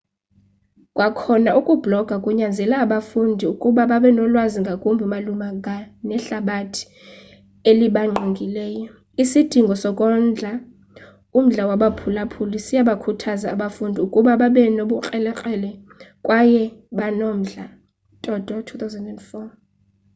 kwakhona ukubhloga kunyanzela abafundi ukuba babe nolwazi ngakumbi malunga nehlabathi elibangqongileyo. isidingo sokondla umdla wabaphulaphuli siyabakhuthaza abafundi ukuba babe nobukrelekrele kwaye banomdla toto 2004